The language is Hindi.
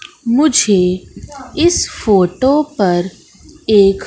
मुझे इस फोटो पर एक--